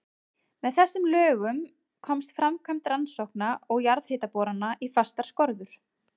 Með þessum lögum komst framkvæmd rannsókna og jarðhitaborana í fastar skorður.